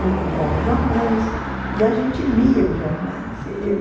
Ele comprava os jornais e a gente lia os jornais.